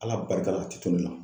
Ala barika la a tɛ to ne la.